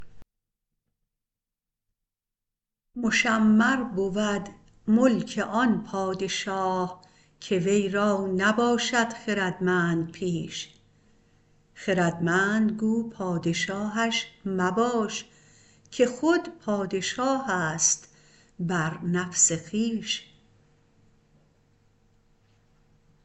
مشمر برد ملک آن پادشاه که وی را نباشد خردمند پیش خردمند گو پادشاهش مباش که خود پاشاهست بر نفس خویش